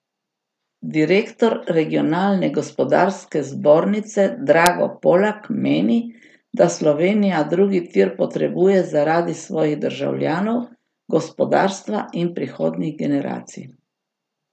Direktor Regionalne gospodarske zbornice Drago Polak meni, da Slovenija drugi tir potrebuje zaradi svojih državljanov, gospodarstva in prihodnjih generacij.